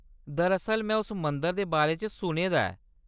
दरअसल, में उस मंदर दे बारे च सुने दा ऐ।